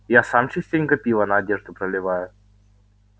я сам частенько пиво на одежду проливаю